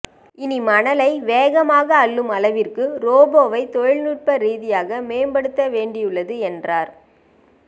இனி மணலை வேகமாக அள்ளும் அளவிற்கு ரோபோவை தொழில்நுட்ப ரீதியாக மேம்படுத்த வேண்டியுள்ளது என்றார்